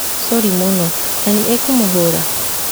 coori mũno, na nĩ ekũmũhũra?